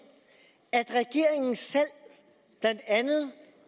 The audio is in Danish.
at regeringen selv blandt andet